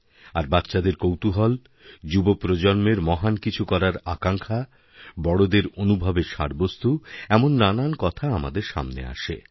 আর বাচ্চাদের কৌতূহল যুব প্রজন্মের মহান কিছু করার আকাঙ্ক্ষা বড়দেরঅনুভবের সারবস্তু এমন নানা কথা আমাদের সামনে আসে